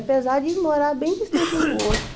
Apesar de morar bem distante um do outro.